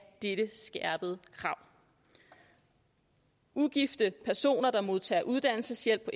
dette skærpede krav ugifte personer der modtager uddannelseshjælp på